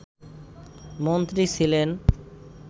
মন্ত্রী ছিলেন